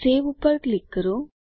save ઉપર click કરો